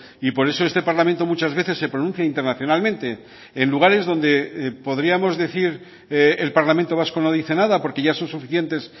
y por eso este parlamento muchas veces se pronuncia internacionalmente en lugares donde podríamos decir el parlamento vasco no dice nada porque ya son suficientes